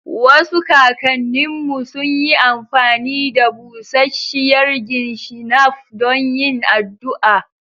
Wasu kakanninmu sun yi amfani da busasshiyar gin shinap don yin addu'a